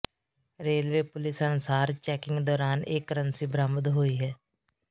railway police ਅਨੁਸਾਰ checking ਦੌਰਾਨ ਇਹ ਕਰੰਸੀ ਬਰਾਮਦ ਹੋਈ ਹੈ